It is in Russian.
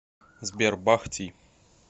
сбер бах ти